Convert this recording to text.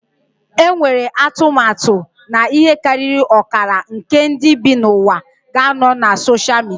Enwere atụmatụ na ihe karịrị ọkara nke ndị bi n'ụwa ga-anọ na soshal midia